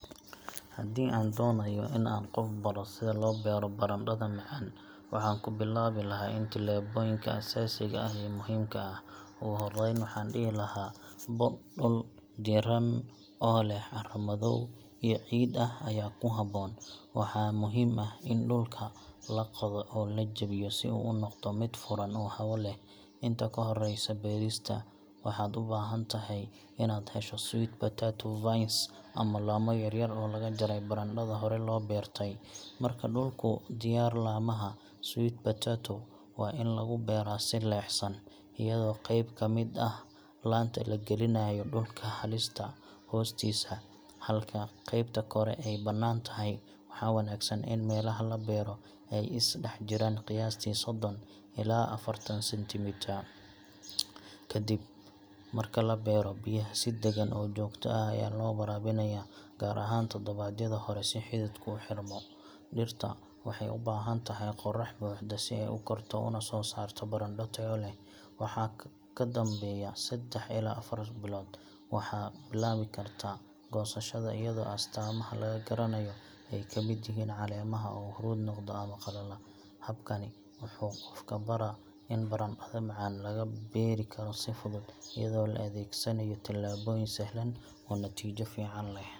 Haddii aan doonayo in aan qof baro sida loo beero barandhada macaan, waxaan ku bilaabi lahaa tillaabooyinka aasaasiga ah ee muhiimka ah. Ugu horreyn, waxaan dhihi lahaa dhul diiran oo leh carro dhoobo iyo ciid ah ayaa ku habboon. Waxaa muhiim ah in dhulka la qodo oo la jebiyo si uu u noqdo mid furan oo hawo leh. Inta ka horreysa beerista, waxaad u baahan tahay inaad hesho sweet potato vines ama laamo yaryar oo laga jaray barandhada hore loo beertay. Marka dhulku diyaar yahay, laamaha sweet potato waa in lagu beeraa si leexsan, iyadoo qayb ka mid ah laanta la gelinayo dhulka hoostiisa, halka qaybta kore ay banaan tahay. Waxaa wanaagsan in meelaha la beero ay is dhex jiraan qiyaastii soddon ilaa affartan centimetre. Kadib marka la beero, biyaha si deggan oo joogto ah ayaa loo waraabinayaa, gaar ahaan toddobaadyada hore si xididku u xirmo. Dhirta waxay u baahan tahay qorax buuxda si ay u korto una soo saarto barandho tayo leh. Wixii ka dambeeya saddex ilaa afar bilood, waxaad bilaabi kartaa goosashada, iyadoo astaamaha laga garanayo ay ka mid yihiin caleemaha oo huruud noqda ama qalala. Habkani wuxuu qofka baraa in barandhada macaan laga beeri karo si fudud, iyadoo la adeegsanayo tillaabooyin sahlan oo natiijo fiican leh.